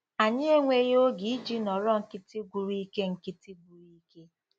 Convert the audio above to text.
Anyị enweghị oge iji nọrọ nkịtị gwụrụ ike nkịtị gwụrụ ike